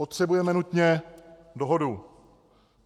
Potřebujeme nutně dohodu.